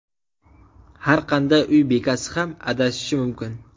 Har qanday uy bekasi ham adashishi mumkin.